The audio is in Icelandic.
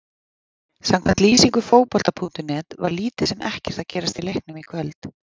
Samkvæmt lýsingu Fótbolta.net var lítið sem ekkert að gerast í leiknum í kvöld.